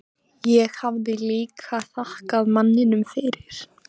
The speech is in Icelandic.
Ég hafði líka þakkað manninum fyrir.